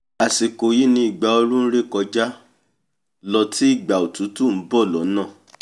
àsìkò yí ni ìgbà ooru nré kọjá lọ tí ìgbà òtútù nbọ̀ lọ́nà